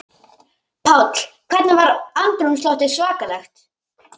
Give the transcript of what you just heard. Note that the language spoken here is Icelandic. Páll: Hvernig var andrúmsloftið svakalegt?